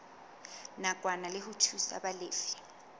nakwana ke ho thusa balefi